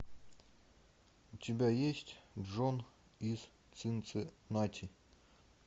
у тебя есть джон из цинциннати